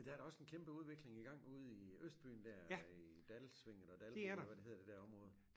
Men der er da også en kæmpe udvikling i gang ude i Østbyen dér i Dalsvinget og dalområdet eller hvad det hedder det der område